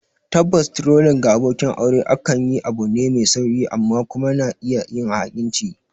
Tabbas, trolling ga abokin aure akan layi abu ne mai sauƙi; amma kuma yana iya yin ha'inci